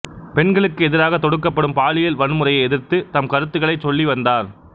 பெண்களுக்கு எதிராகத் தொடுக்கப்படும் பாலியல் வன்முறையை எதிர்த்து தம் கருத்துகளைச் சொல்லி வந்தார்